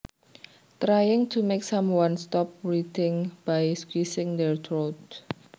Trying to make someone stop breathing by squeezing their throat